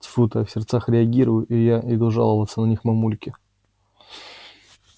тьфу ты в сердцах реагирую я и иду жаловаться на них мамульке